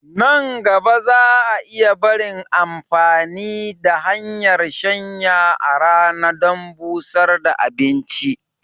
Nan gaba za a iya barin amfani da hanyar shanya a rana dan busar da abinci